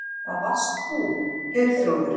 Það varst þú, Geirþrúður.